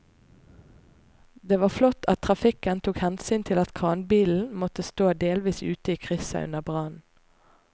Det var flott at trafikken tok hensyn til at kranbilen måtte stå delvis ute i krysset under brannen.